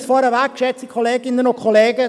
Ich nehme es vorweg: